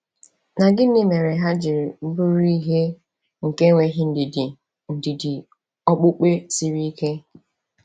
Na gịnị mere ha ji bụrụ ihe nke enweghị ndidi ndidi okpukpe siri ike?